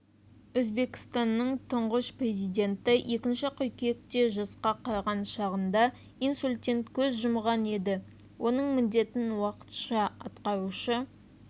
өзбекстанның тұңғыш президенті екінші қыркүйекте жасқа қараған шағында инсульттен көз жұмған еді оның міндетін уақытша атқарушы